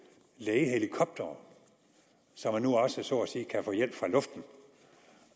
lægehelikoptere så man nu også så at sige kan få hjælp fra luften